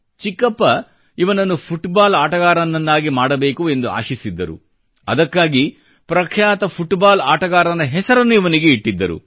ಚಿಕ್ಕಪ್ಪ ಇವನನ್ನು ಫುಟ್ಬಾಲ್ ಆಟಗಾರನನ್ನಾಗಿ ಮಾಡಬೇಕು ಎಂದು ಆಶಿಸಿದ್ದರು ಅದಕ್ಕಾಗಿ ಪ್ರಖ್ಯಾತ ಫುಟ್ಬಾಲ್ ಆಟಗಾರನ ಹೆಸರನ್ನು ಇವನಿಗೆ ಇಟ್ಟಿದ್ದರು